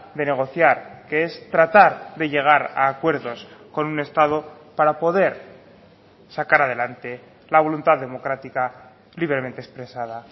de negociar que es tratar de llegar a acuerdos con un estado para poder sacar adelante la voluntad democrática libremente expresada